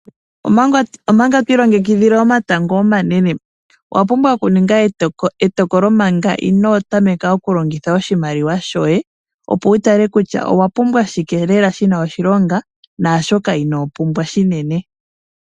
Omanga to ilongekidhile omatango omanene, owa pumbwa okuninga etokolo manga ino tameka okulongitha oshimaliwa shoye, opo wu tale kutya owa pumbwa shike lela, shi na oshilonga naashoka inopumbwa shinene.